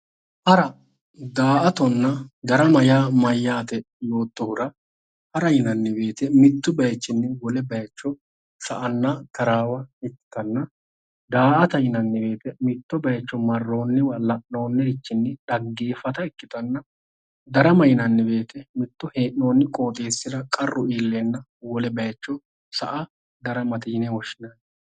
hara daa''atanna darama yaa mayyaate? yoottohura hara yinanniwoyite mittu bayichinni wole bayicho sa"anna taraawa ikkanna daa"ata yinanni woyite mitto bayicho marroonniwa dhaggeeffata ikkitanna darama yinanniwoyite mittu qooxeessira qarru iilleenna wole bayicho sa"a daramate yinanni.